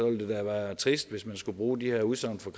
det da være trist hvis man skulle bruge de her udsagn fra